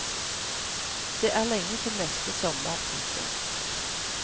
Det er lenge til neste sommer. punktum